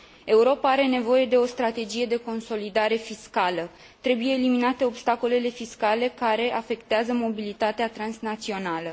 Europa are nevoie de o strategie de consolidare fiscală, trebuie eliminate obstacolele fiscale care afectează mobilitatea transnațională.